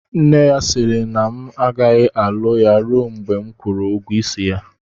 Nne ya sịrị na m agaghị alụ ya rue mgbe m kwụrụ ụgwọ isi ya